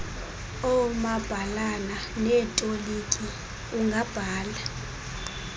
oomabhalana neetoliki ungabhala